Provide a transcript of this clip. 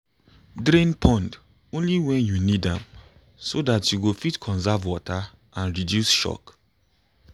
drain pond only when you need am so that you go fit conserve water and reduce shock